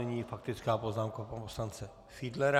Nyní faktická poznámka pana poslance Fiedlera.